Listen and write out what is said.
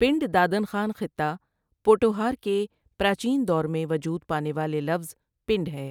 پنڈ دادن خان خطہ پوٹھوہار کے پراچین دور میں وجود پانے والے لفظ پنڈ ہے۔